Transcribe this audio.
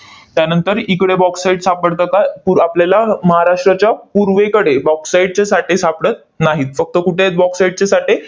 त्यानंतर इकडे bauxite सापडतं का? पूर आपल्याला महाराष्ट्राच्या पूर्वेकडे bauxite चे साठे सापडत नाहीत. फक्त कुठे आहेत bauxite चे साठे?